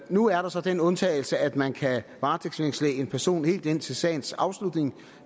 nu er der så den undtagelse at man kan varetægtsfængsle en person helt indtil sagens afslutning